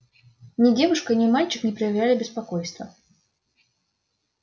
ни девушка ни мальчик не проявляли беспокойства